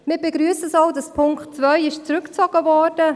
Wir begrüssen auch, dass der Punkt 2 zurückgezogen wurde: